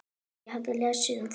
Ég hef lesið um það.